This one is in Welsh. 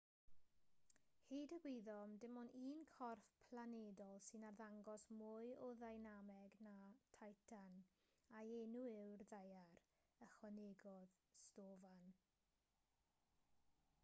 hyd y gwyddom dim ond un corff planedol sy'n arddangos mwy o ddeinameg na titan a'i enw yw'r ddaear ychwanegodd stofan